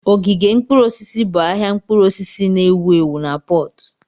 Ogige mkpụrụ osisi bụ ahịa mkpụrụ osisi na-ewu ewu na Pọtu.